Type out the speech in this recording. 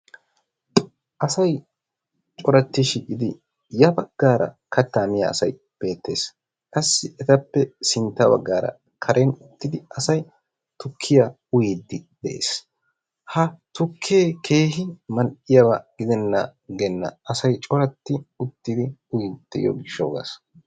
Asay coratti shiiqqidi yaa baggaara kaattaa miyaa asay beettees. qassi etappe sintta baggaara karen uttidi asay tukkiyaa uuyidi de'ees. Ha tukkee keehin mal"iyaaba gidenan agenna. asay cooratti uttidi uyyiidi de'iyoo giishshawu gaas.